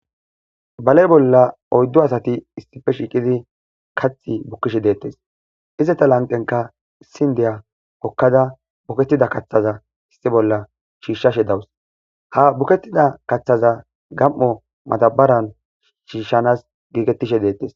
bale bolla oyddo asati issife shiiqidi kathi bukkishe deettes izeta lanqenka issin diya kokkada bukettida kaththaza issi bolla shiishshashe dawus ha bukettida kaththaza gam7o matabaran shiishshanas giigettishe deettes